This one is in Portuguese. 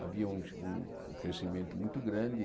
Havia um um crescimento muito grande.